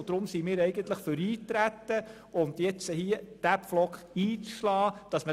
Deshalb sind wir für Eintreten und möchten diesen Pflock einschlagen.